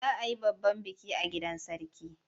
Za a yi babban biki a gidan Sarki.